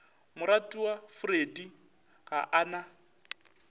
moratiwa freddie ga a na